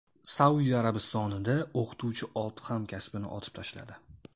Saudiya Arabistonida o‘qituvchi olti hamkasbini otib tashladi.